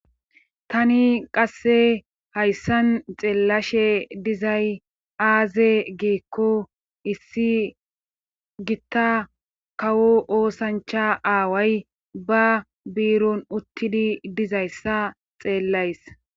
tani qasse hayssan xeellashe dizay aaze geekko issi gitta kawo oosancha aaway ba biiron uttidi dizayssa xeellays